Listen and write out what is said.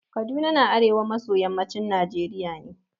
Kaduna na arewa maso yammacin Najeriya ne.